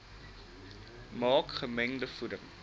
maak gemengde voeding